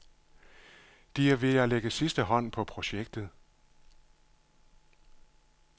De er ved at lægge sidste hånd på projektet.